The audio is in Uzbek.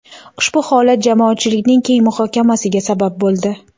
Ushbu holat jamoatchilikning keng muhokamasiga sabab bo‘ldi.